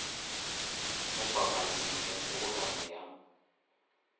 mo papading ye kgobokano ya